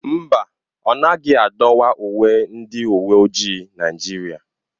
Mba ọ naghị adọwa uwe ndị uwe ojii Naijiria.